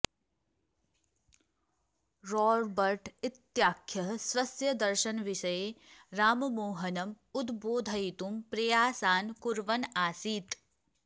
Robert इत्याख्यः स्वस्य दर्शनविषये राममोहनम् उद्बोधयितुं प्रयासान् कुर्वन् आसीत्